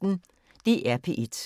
DR P1